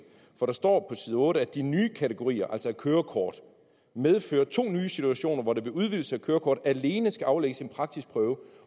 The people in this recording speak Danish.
for der står på side otte at de nye kategorier altså et kørekort medfører to nye situationer hvor der ved udvidelse af kørekort alene skal aflægges en praktisk prøve